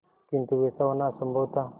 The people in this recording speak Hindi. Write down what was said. किंतु वैसा होना असंभव था